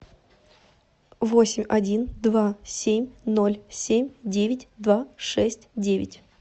восемь один два семь ноль семь девять два шесть девять